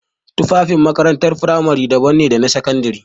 Tufafin makarantar firamare daban ne da sakandare.